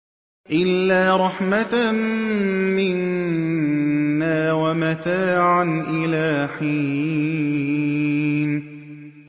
إِلَّا رَحْمَةً مِّنَّا وَمَتَاعًا إِلَىٰ حِينٍ